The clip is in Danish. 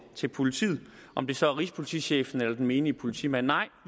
til politiet om det så er rigspolitichefen eller den menige politimand nej